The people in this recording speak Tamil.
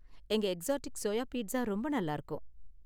எங்க எக்ஸாட்டிக் சோயா பீட்சா ரொம்ப நல்லா இருக்கும்.